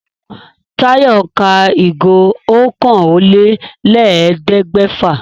Táyọ̀ ń ka ìgò okòólélẹ́ẹ̀ẹ́dẹ́gbẹ́fà